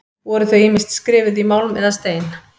Voru þau ýmist skrifuð í málm eða stein.